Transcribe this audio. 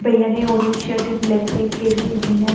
भैया ने orange shirt and black pant पहनी है एक भैया--